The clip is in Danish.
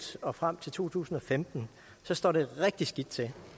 og frem til to tusind og femten så står det rigtig skidt til